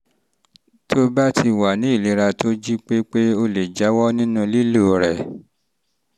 tó o bá ti wá ní ìlera tó um jí pépé o lè jáwọ́ nínú lílo lílo rẹ̀